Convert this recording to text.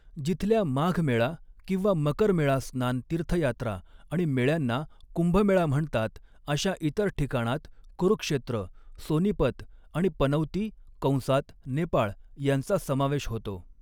जिथल्या माघ मेळा किंवा मकर मेळा स्नान तीर्थयात्रा आणि मेळ्यांना कुंभमेळा म्हणतात, अशा इतर ठिकाणांत कुरुक्षेत्र, सोनीपत आणि पनौती कंसात नेपाळ यांचा समावेश होतो.